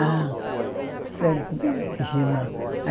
Ah, sabe como é que chama?